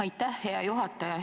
Aitäh, hea juhataja!